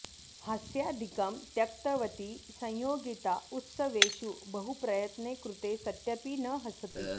हास्यादिकं त्यक्तवती संयोगिता उत्सवेषु बहुप्रयत्ने कृते सत्यपि न हसति